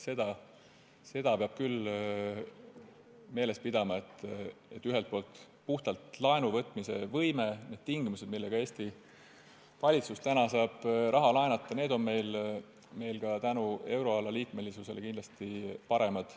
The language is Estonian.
Seda peab küll meeles pidama, et puhtalt laenu võtmise võime ja need tingimused, millega Eesti valitsus saab praegu raha laenata, on meil ka tänu euroala liikmesusele kindlasti paremad.